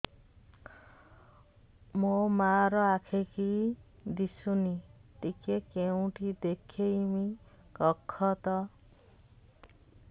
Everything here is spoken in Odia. ମୋ ମା ର ଆଖି କି ଦିସୁନି ଟିକେ କେଉଁଠି ଦେଖେଇମି କଖତ